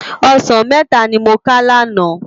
Òsán mètá ni mó ká làná